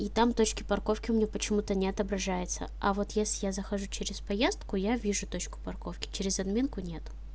и там точки парковки мне почему-то не отображается а вот если я захожу через поездки я вижу точку парковки через админку нет